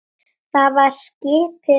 Það var skipið Ásgeir